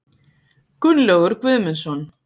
Gunnlaugur Guðmundsson.